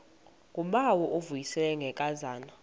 ngubawo uvuyisile ngenkazana